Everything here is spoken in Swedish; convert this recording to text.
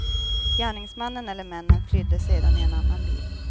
Gärningsmannen eller männen flydde sedan i en annan bil.